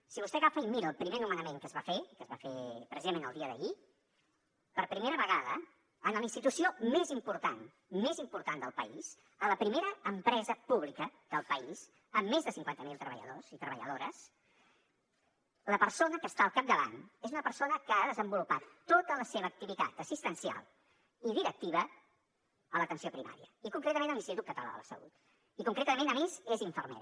si vostè agafa i mira el primer nomenament que es va fer que es va fer precisament el dia d’ahir per primera vegada en la institució més important més important del país a la primera empresa pública del país amb més de cinquanta mil treballadors i treballadores la persona que està al capdavant és una persona que ha desenvolupat tota la seva activitat assistencial i directiva a l’atenció primària i concretament a l’institut català de la salut i concretament a més és infermera